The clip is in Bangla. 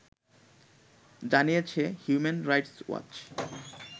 জানিয়েছে হিউম্যান রাইটস ওয়াচ